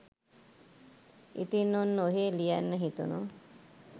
ඉතින් ඔන්න ඔහේ ලියන්න හිතුනු